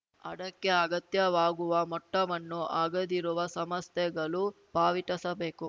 ಅಡಕ್ಕೆ ಅಗತ್ಯವಾಗುವ ಮೊಟ್ಟವನ್ನು ಅಗೆದಿರುವ ಸಮಸ್ಥೆಗಳು ಪಾವಟಿಸಬೇಕು